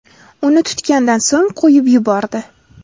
Uni tutgandan so‘ng, qo‘yib yubordi.